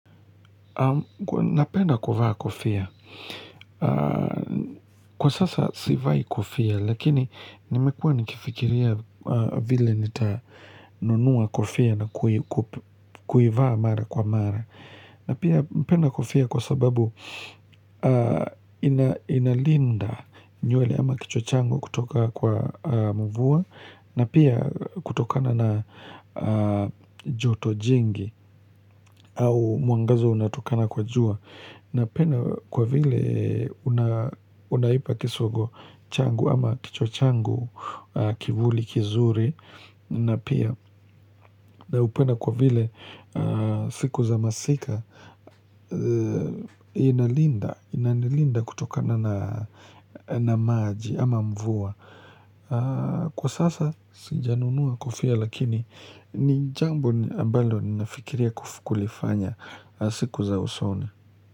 Napenda kuvaa kofia. Kwa sasa sivai kofia lakini nimekuwa nikifikiria vile nitanunua kofia na kuivaa mara kwa mara. Napenda kofia kwa sababu inalinda nywele ama kichwa changu kutoka kwa mvua na pia kutokana na joto jingi au mwangaza unatokana kwa jua. Napenda kwa vile unaipa kisogo changu ama kichwa changu kivuli kizuri na pia naupenda kwa vile siku za masika inanilinda kutokana na maji ama mvua. Kwa sasa sijanunua kofia lakini ni jambo ambalo nafikiria kulifanya siku za usoni.